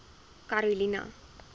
karolina